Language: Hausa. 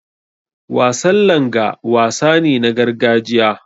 Wasan Langa wasa ne na gargajiya.